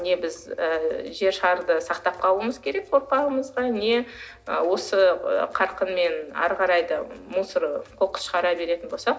не біз ы жер шарды сақтап қалуымыз керек ұрпағымызға не ы осы қарқынмен ары қарай да мусор қоқыс шығара беретін болсақ